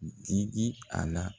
Di di a la.